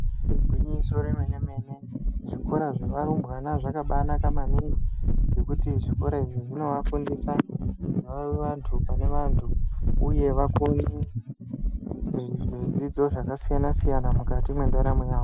Igwinyiso remene mene zvikora zvevarumbwana zvakaba naka maningi ngekuti zvikora izvi zvinovafundisa vave vantu pane vantu uye vakone zvidzidzo zvakasiyana siyana mukati mwendaramo yavo.